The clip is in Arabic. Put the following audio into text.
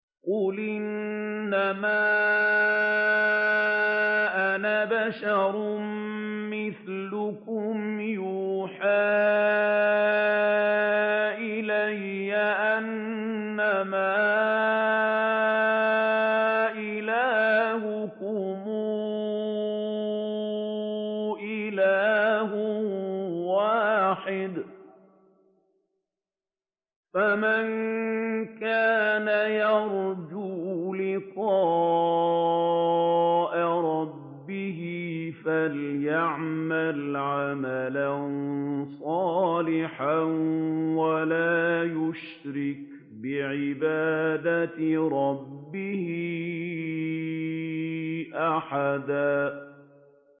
قُلْ إِنَّمَا أَنَا بَشَرٌ مِّثْلُكُمْ يُوحَىٰ إِلَيَّ أَنَّمَا إِلَٰهُكُمْ إِلَٰهٌ وَاحِدٌ ۖ فَمَن كَانَ يَرْجُو لِقَاءَ رَبِّهِ فَلْيَعْمَلْ عَمَلًا صَالِحًا وَلَا يُشْرِكْ بِعِبَادَةِ رَبِّهِ أَحَدًا